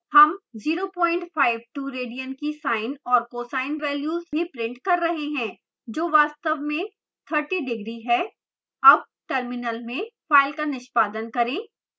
हम 052 radian की sine और cosine values भी प्रिंट कर रहे हैं जो वास्तव में 30 degree है अब टर्मिनल में फाइल का निष्पादन करें